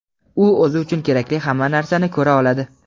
"u o‘zi uchun kerakli hamma narsani ko‘ra oladi".